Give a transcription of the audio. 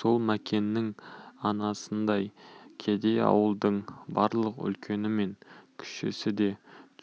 сол мәкеннің анасындай кедей ауылдың барлық үлкені мен кішісі де